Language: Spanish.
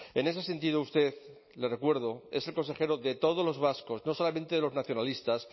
en ese sentido usted le recuerdo es el consejero de todos los vascos no solamente de los nacionalistas